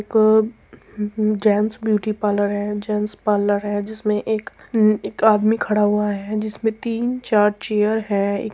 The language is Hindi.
एक जेन्स ब्यूटी पार्लर है जेन्स पार्लर है जिसमे एक हम्म आदमी खड़ा हुआ है जिसमे तीन चार चेयर है। एक --